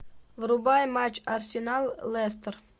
врубай матч арсенал лестер